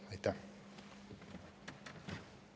Aitäh!